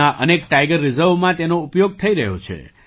દેશના અનેક ટાઇગર રિઝર્વમાં તેનો ઉપયોગ થઈ રહ્યો છે